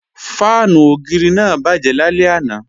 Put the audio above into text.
Fáànù ògiri náà bàjẹ́ lálẹ́ àná